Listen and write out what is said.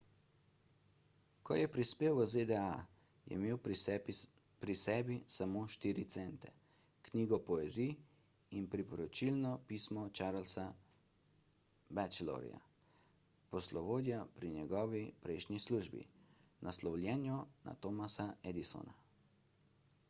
ko je prispel v zda je imel pri sebi samo 4 cente knjigo poezij in priporočilno pismo charlesa batchelorja poslovodja pri njegovi prejšnji službi naslovljeno na thomasa edisona